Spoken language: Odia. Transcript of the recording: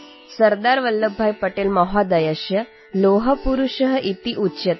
ସର୍ଦ୍ଦାର ବଲ୍ଲଭଭାଇ ପଟେଲ ମହୋଦୟଙ୍କୁ ଲୌହପୁରୁଷ କୁହାଯାଏ